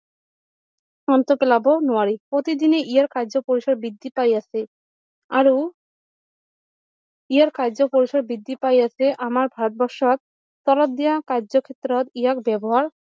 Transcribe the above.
অন্ত পেলাব নোৱাৰি প্ৰতিদিনেই ইয়াৰ কাৰ্য পৰিচয় বৃদ্ধি পায় আছে আৰু ইয়াৰ কাৰ্য্য পৰিচয় বৃদ্ধি পাই আছে আমাৰ ভাৰত বৰ্ষৰ তলত দিয়া কাৰ্য্য ক্ষেত্ৰত ইয়াক ব্যৱহাৰ